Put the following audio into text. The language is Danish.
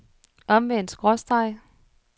omvendt skråstreg